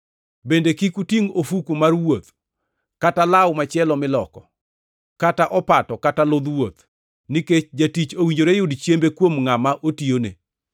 bende kik utingʼ ofuku mar wuoth, kata law machielo miloko, kata opato, kata ludh wuoth; nikech jatich owinjore yud chiembe kuom ngʼama otiyone.